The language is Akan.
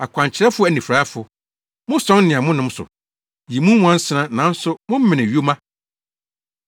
Akwankyerɛfo anifuraefo! Mosɔn nea monom so, yi mu nwansena nanso momene yoma!